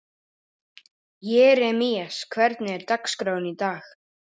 Jeremías, hvernig er dagskráin í dag?